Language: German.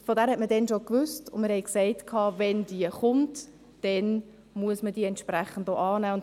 Von dieser Motion wusste man damals schon, und wir sagten: Wenn sie kommt, dann muss man sie entsprechend auch annehmen.